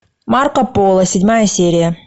марко поло седьмая серия